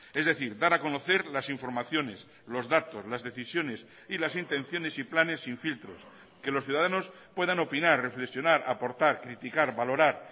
es decir dar a conocer las informaciones los datos las decisiones y las intenciones y planes sin filtros que los ciudadanos puedan opinar reflexionar aportar criticar valorar